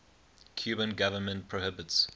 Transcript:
cuban government prohibits